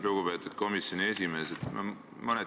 Lugupeetud komisjoni esimees!